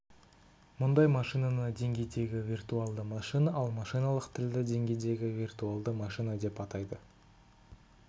мұндай машинаны деңгейдегі виртуалды машина ал машиналық тілді деңгейдегі виртуалды машина деп атайды